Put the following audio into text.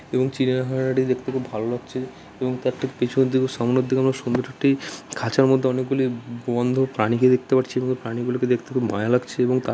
এবং চিড়িয়াখানাটি দেখতে খুব ভাল লাগছে এবং তার ঠিক পিছনের দিকে ও সামনের দিকে খুব সুন্দর দুটি খাঁচার মধ্যে অনেক গুলি ব বন্ধ প্রাণীকে দেখতে পাচ্ছি এবং প্রাণী গুলোকে দেখতে খুব মায়া লাগছে এবং তা --